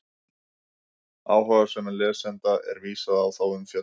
Áhugasömum lesanda er vísað á þá umfjöllun.